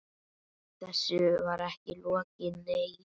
Þessu var ekki lokið, nei.